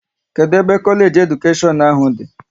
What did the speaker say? Kedụ ebe Kolage nke Edukashion ahụ dị?